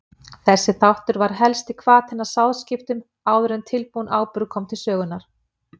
Þessi þáttur var helsti hvati að sáðskiptum áður en tilbúinn áburður kom til sögunnar.